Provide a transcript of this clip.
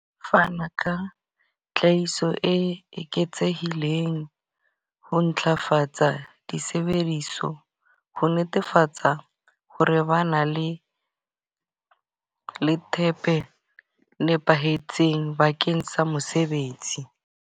Fana ka tlhahiso e eketsehileng ho ntlafatsa disebediso. Ho netefatsa ho re bana le le thepe nepahetseng bakeng sa mosebetsi.